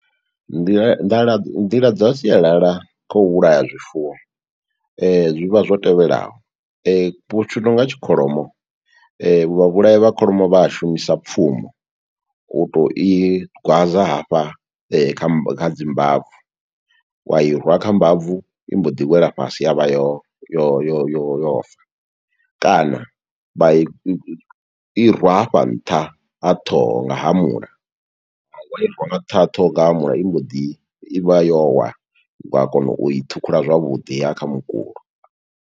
Nḓila nḓala, nḓila dza sialala kha u vhulaya zwifuwo, Zwi vha zwo tevhelaho, tshi nonga kholomo, vha vhulayi vha kholomo vha a shumisa pfumo, u to i gwaza hafha kha dzi mbabvu, wa i rwa kha mbabvu, i mbo ḓi wela fhasi ya vha yo yo yo yo yo fa. Kana vha i i rwa hafha nṱha ha ṱhoho nga hamula, wa i rwa nga nṱha ha ṱhoho nga hamula i mbo ḓi, i vha yo wa. Wa kona u i ṱhukhula zwavhuḓi, ya ya kha mukulo.